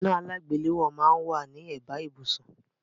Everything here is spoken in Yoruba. Iná alágbèléwọ́ máà ń wá ní ẹ̀bá ibùsùn